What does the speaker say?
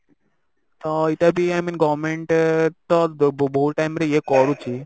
ତ ଏଇଟା ବି i mean government ତ ଭୁ ଭୁ ଭୁଲ time ରେ ଇଏ କରୁଛି